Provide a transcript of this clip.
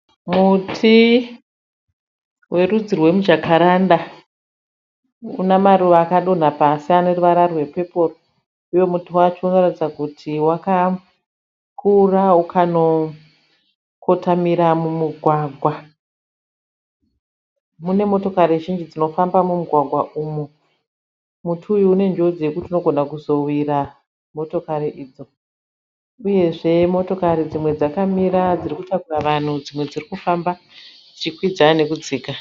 Muti werudzi rwemujakaranda. Una maruva akadonha pasi ane ruvara rwepepo uye muti wacho unoratidza kuti wakakura ukanokotamira mumugwagwa. Mune motokari zhinji dzinofamba mumugwagwa umu. Muti uyu unenjodzi yekuti unogona kuzowira motokari idzo. Uyezve motokari dzimwe dzakamira dziri kutakura vanhu dzimwe dziri kufamba dzichikwidza nekudzika.